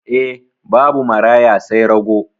E, babu maraya sai rago.